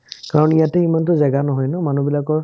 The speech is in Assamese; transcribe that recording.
কাৰণে ইয়াতো ইমান জেগা নহয় ন মানুহবিলাকৰ